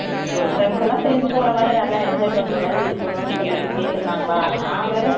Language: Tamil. ஒரு friends எல்லாம் சேர்ந்து போற மாதிரி நல்லா enjoy பண்ற மாதிரி இருக்கணும் சொல்லிட்டு கேட்டு இருந்தாங்களா நான் வேற